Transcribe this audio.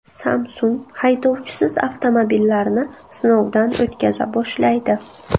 Samsung haydovchisiz avtomobillarni sinovdan o‘tkaza boshlaydi.